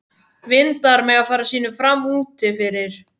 Vindar mega fara sínu fram úti fyrir.